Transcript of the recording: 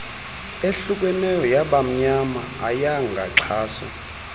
ehlukeneyo yabamnyama ayengaxhaswa